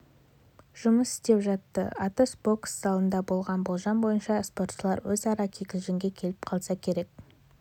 жұмыс істеп жатты атыс бокс залында болған болжам бойынша спортшылар өзара кикілжіңге келіп қалса керек